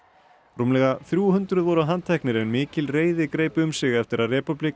rúmlega þrjú hundruð voru handteknir en mikil reiði greip um sig eftir að